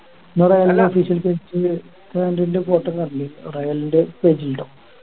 വേറെ unofficial പോയിട്ട് കാൻഡൻ്റെ photo കാണലിണ്ട് റയലിന്റെ page ലുണ്ടാവും